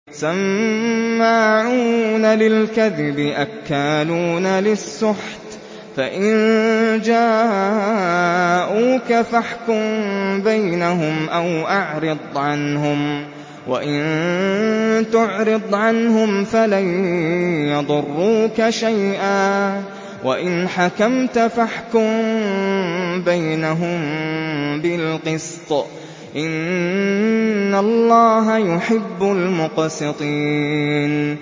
سَمَّاعُونَ لِلْكَذِبِ أَكَّالُونَ لِلسُّحْتِ ۚ فَإِن جَاءُوكَ فَاحْكُم بَيْنَهُمْ أَوْ أَعْرِضْ عَنْهُمْ ۖ وَإِن تُعْرِضْ عَنْهُمْ فَلَن يَضُرُّوكَ شَيْئًا ۖ وَإِنْ حَكَمْتَ فَاحْكُم بَيْنَهُم بِالْقِسْطِ ۚ إِنَّ اللَّهَ يُحِبُّ الْمُقْسِطِينَ